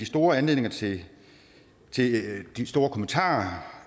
store anledning til de store kommentarer